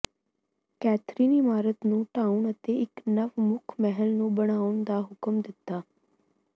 Catherine ਇਮਾਰਤ ਨੂੰ ਢਾਹੁਣ ਅਤੇ ਇੱਕ ਨਵ ਮੁੱਖ ਮਹਿਲ ਨੂੰ ਬਣਾਉਣ ਦਾ ਹੁਕਮ ਦਿੱਤਾ